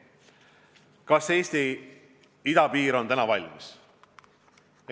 Kas Eesti idapiir on täna valmis?